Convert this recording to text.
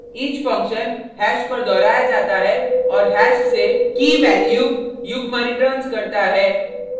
each function hash पर दोहराया जाता है और हैश से की/वैल्यू key/value युग्म रिटर्न्स करता है